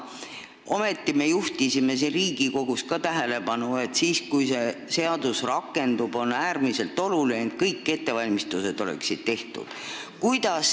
Ometi juhtisime ka meie siin Riigikogus tähelepanu sellele, et siis, kui see seadus rakendub, peaksid kõik ettevalmistused olema tehtud.